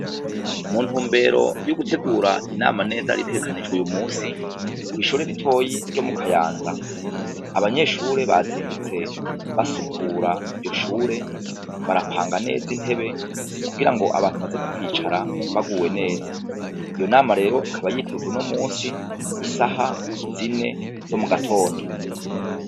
Mu ntumbero yo gutegura inama neza itegekanijwe uyu musi, kw'ishure ritoyi ryo mu Kayanza, abanyeshure bazindutse basukura iryo Shure barapanga neza intebe kugira ngo abantu baza kuhicara baguwe neza. Iyo nama rero ikaba yitezwe uyu musi isaha zine zo mugatondo.